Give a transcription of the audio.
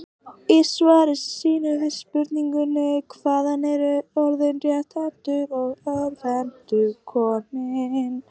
Í svari sínu við spurningunni Hvaðan eru orðin rétthentur og örvhentur komin?